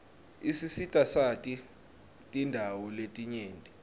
isisitasati tindawo letinyenti